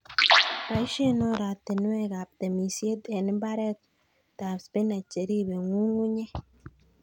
Boisien oratinwekab temisiet en mbaretab spinach cheribe ng'ung'unyek.